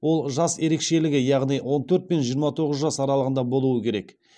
ол жас ерекшелігі яғни он төрт пен жиырма тоғыз жас аралығында болуы керек